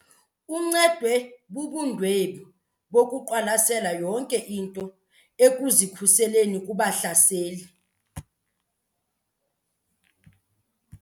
Uncedwe bubundwebi bokuqwalasela yonke into ekuzikhuseleni kubahlaseli.